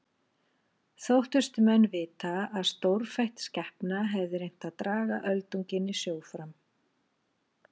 Þóttust menn vita að stórfætt skepna hefði reynt að draga öldunginn í sjó fram.